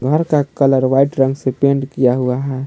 घर का colour white रंग से पेंट किया गया है।